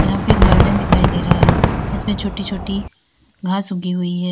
यहां पे गार्डेन दिखाई दे रहा है इसमें छोटी छोटी घास उगी हुई है।